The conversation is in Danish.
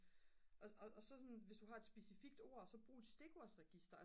og så sådan hvis du har et specifikt ord så brug et stikordsregister